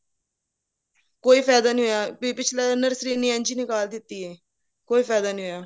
ਕੋਈ ਫਾਇਦਾ ਨਹੀਂ ਹੋਇਆ ਪਿਛਲੀ nursery ਇਸਨੇ ਇੰਝ ਹੀ ਨਿਕਲ ਦਿੱਤੀ ਹੈ ਕੋਈ ਫਾਇਦਾ ਨਹੀਂ ਹੋਇਆ